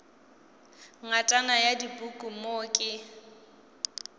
ngatana ya dipuku mo ke